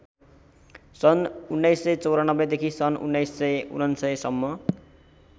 सन् १९९४ देखि १९९९ सम्म